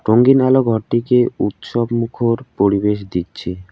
রঙিন আলো ঘরটিকে উৎসব মুখর পরিবেশ দিচ্ছে।